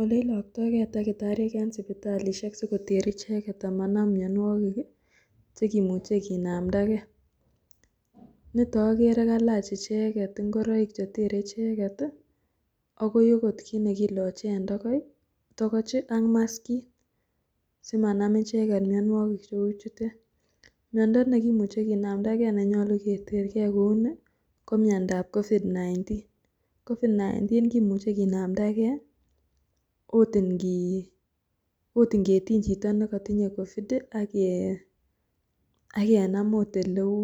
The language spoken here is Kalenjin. Ole ilokto gee takitariek en sipitalishek sikoter icheket amanam mionwokik kii chekimuche kinamda gee, niton okere kalach icheket ingiroik chetere icheket tii akoi okot kit nekilochr en toko tokochii ak maskiit simanam icheket mionwokik cheu chutet. Miondo nekimuche kinamda gee nenyolu kiter gee kouni komiondap COVID-19, COVID-19 kimuche kinamda gee ot inkii ot inketiny chito nekotinye COVID ak kenam ot oleu